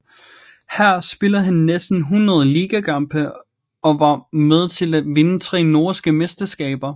Her spillede han næsten 100 ligakampe og var med til at vinde tre norske mesterskaber